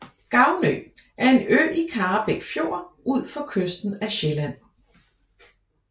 Gavnø er en ø i Karrebæk Fjord ud for kysten af Sjælland